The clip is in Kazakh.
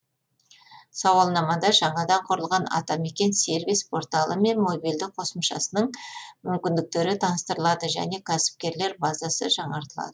сауалнамада жаңадан құрылған атамекен сервис порталы мен мобильді қосымшасының мүмкіндіктері таныстырылады және кәсіпкерлер базасы жаңартылады